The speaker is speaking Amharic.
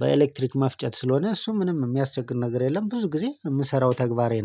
በኤሌክትሪክ መፍጨት ስለሆነ እሱም ምንም የሚያስቸግር ነገር የለም። ብዙ ጊዜ የምሰራው ተግባሬ ነው